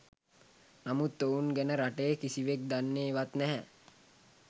නමුත් ඔවුන් ගැන රටේ කිසිවෙක් දන්නේ වත් නැහැ